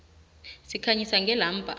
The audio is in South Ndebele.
sikhanyisa ngelamba